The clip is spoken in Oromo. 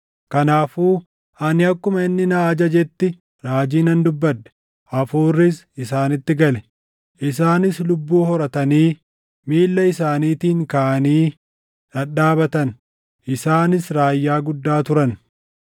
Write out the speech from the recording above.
Kanaafuu ani akkuma inni na ajajetti raajii nan dubbadhe; hafuurris isaanitti gale; isaanis lubbuu horatanii miilla isaaniitiin kaʼanii dhadhaabatan; isaanis raayyaa guddaa turan.